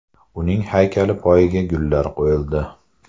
Uning haykali poyiga gullar qo‘yildi.